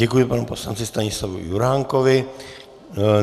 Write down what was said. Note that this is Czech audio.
Děkuji panu poslanci Stanislavu Juránkovi.